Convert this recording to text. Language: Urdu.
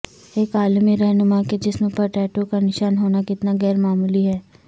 ایک عالمی رہنما کے جسم پر ٹیٹو کا نشان ہونا کتنا غیرمعمولی ہے